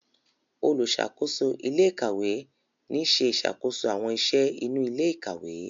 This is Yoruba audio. oluṣakoso ilé ìkàwé ní ṣe ìṣàkóso àwọn iṣẹ inú ilé ìkàwé.